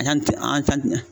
Yanni an